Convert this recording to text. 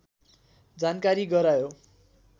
जानकारी गरायो